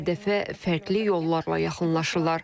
Hədəfə fərqli yollarla yaxınlaşırlar.